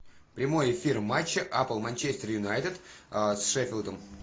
прямой эфир матча апл манчестер юнайтед с шеффилдом